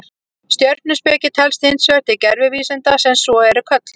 Stjörnuspeki telst hins vegar til gervivísinda sem svo eru kölluð.